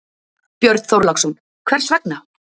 Björn Þorláksson: Hvers vegna?